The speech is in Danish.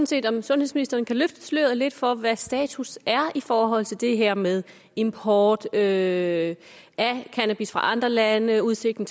set om sundhedsministeren kan løfte sløret lidt for hvad status er i forhold til det her med import af cannabis fra andre lande og udsigten